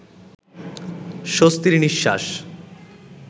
স্বস্তির নিঃশ্বাস